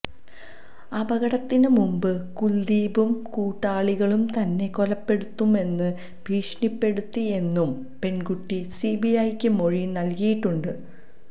അപകടത്തിന് മുമ്പ് കുൽദീപും കൂട്ടാളികളും തന്നെ കൊലപ്പെടുത്തുമെന്ന് ഭീഷണിപ്പെടുത്തിയെന്നും പെണ്കുട്ടി സിബിഐക്ക് മൊഴി നല്കിയിട്ടുണ്ട്